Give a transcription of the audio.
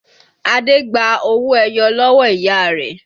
Adé gba owó ẹyọ lọ́wọ́ ìyá rẹ̀